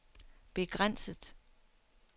begrænset